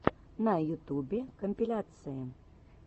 на ютубе компиляции